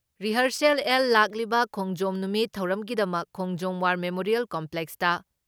rehearsal ꯑꯦꯜ ꯂꯥꯛꯂꯤꯕ ꯈꯣꯡꯖꯣꯝ ꯅꯨꯃꯤꯠ ꯊꯧꯔꯝꯒꯤꯗꯃꯛ ꯈꯣꯡꯖꯣꯝ ꯋꯥꯔ ꯃꯦꯃꯣꯔꯤꯌꯦꯜ ꯀꯝꯄ꯭ꯂꯦꯛꯁꯇ